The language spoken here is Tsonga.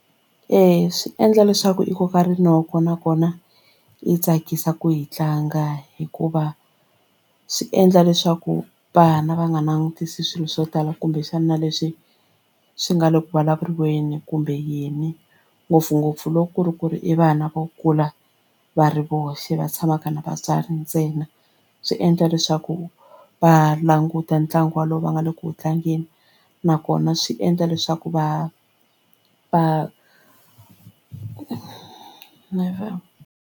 Eya swi endla leswaku i koka rinoko nakona yi tsakisa ku yi tlanga hikuva swi endla leswaku vana va nga langutisi swilo swo tala kumbexana leswi swi nga le ku vulavurisaneni kumbe yini ngopfungopfu loko ku ri ku ri i vana vo kula va ri voxe va tshamaka na vatswari ntsena swi endla leswaku va languta ntlangu wolowo va nga le ku tlangeni nakona swi endla leswaku va va.